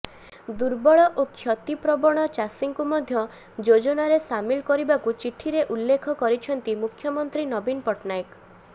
ଦୁର୍ବଳ ଓ କ୍ଷତିପ୍ରବଣ ଚାଷୀଙ୍କୁ ମଧ୍ୟ ଯୋଜନାରେ ସାମିଲ କରିବାକୁ ଚିଠିରେ ଉଲ୍ଲେଖ କରିଛନ୍ତି ମୁଖ୍ୟମନ୍ତ୍ରୀ ନବୀନ ପଟନାୟକ